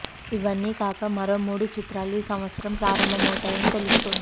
ఇవన్నీ కాక మరో మూడు చిత్రాలు ఈ సంవత్సరం ప్రారంభమవుతాయని తెలుస్తోంది